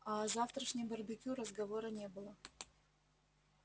а о завтрашнем барбекю разговора не было